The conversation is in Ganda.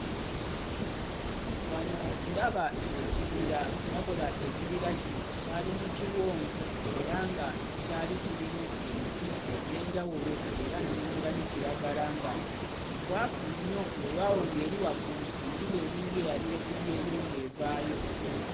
Wano ndaba ekibira wabula ekibira kino kyali mu kiwonvu era nga kyali kirimu emiti egy'enjawulo era nnengera ne kiragala nga mukwafu nnyo wewaawo ng'eri waggulu enjuba eringa eyali ekubyeyo ng'evaayo.